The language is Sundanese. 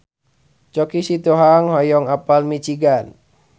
Choky Sitohang hoyong apal Michigan